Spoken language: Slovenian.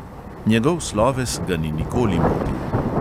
Njegov sloves ga ni nikoli motil.